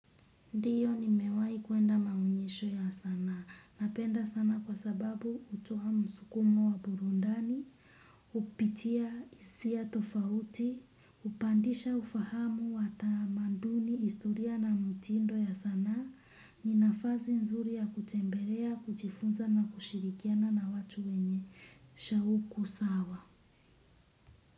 Ndio nimewai kuenda maonyesho ya sanaa. Napenda sana kwa sababu hutoa msukumo wa burundani, hupitia hisia tofauti, hupandisha ufahamu wa tamanduni historia na mtindo ya sanaa. Ni nafasi nzuri ya kutembelea, kuchifunza na kushirikiana na watu wenye shauku sawa.